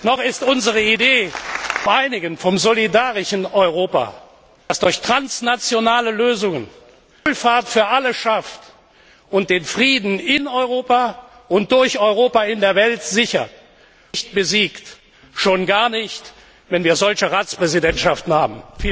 Noch ist unsere Idee vom einigen, vom solidarischen Europa, das durch transnationale Lösungen Wohlfahrt für alle schafft und den Frieden in Europa und durch Europa in der Welt sichert, nicht besiegt, schon gar nicht, wenn wir solche Ratspräsidentschaften haben!